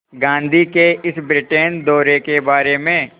गांधी के इस ब्रिटेन दौरे के बारे में